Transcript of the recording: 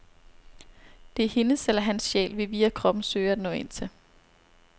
Det er hendes eller hans sjæl, vi via kroppen søger at nå ind til.